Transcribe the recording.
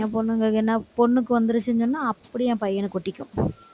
என் பொண்ணுக்கு வந்துருச்சுன்னு சொன்னா, அப்படி என் பையனுக்கு ஒட்டிக்கும்